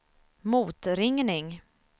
motringning